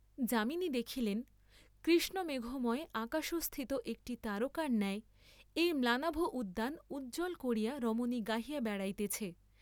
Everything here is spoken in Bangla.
যামিনী দেখিলেন, কৃষ্ণমেঘময় আকাশস্থিত একটি তারকার ন্যায় এই ম্লানাভ উদ্যান উজ্জ্বল করিয়া রমণী গাহিয়া বেড়াইতেছে।